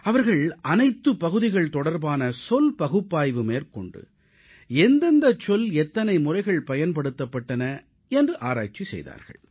அவர்கள் அனைத்துப் பகுதிகள் தொடர்பான சொல் பகுப்பாய்வு மேற்கொண்டு எந்தெந்தச் சொல் எத்தனை முறைகள் பயன்படுத்தப்பட்டன என்று ஆராய்ச்சி செய்தார்கள்